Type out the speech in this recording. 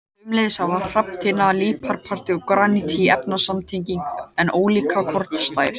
Sömuleiðis hafa hrafntinna, líparít og granít eins efnasamsetning en ólíka kornastærð.